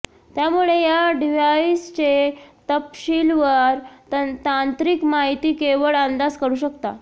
त्यामुळे या डिव्हाइसचे तपशीलवार तांत्रिक माहिती केवळ अंदाज करू शकता